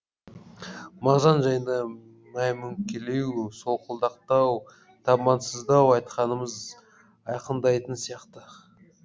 мағжан жайында мәймөңкелеу солқылдақтау табансыздау айтқанымыз айқындайтын сияқты